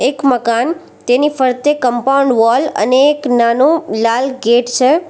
એક મકાન તેની ફરતે કંપાઉન્ડ વોલ અને એક નાનો લાલ ગેટ છે.